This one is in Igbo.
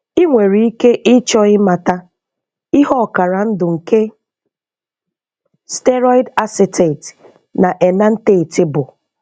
Ị nwere ike ịchọ ịmata ihe ọkara ndụ nke steroid Acetate na enanthate bụ.